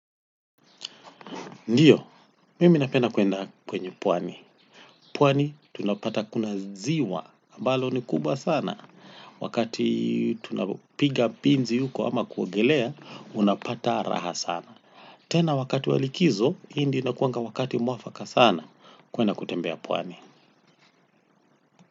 Ndiyo, mimi napenda kwenda kwenye pwani. Pwani tunapata kuna ziwa. Ambalo ni kubwa sana. Wakati tunapiga pizi huko ama kuogelea, unapata raha sana. Tena wakati wa likizo, hii ndio inakuanga wakati mwafaka sana. Kwenda kutembea pwani.